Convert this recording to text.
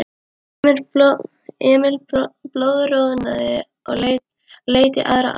Emil blóðroðnaði og leit í aðra átt.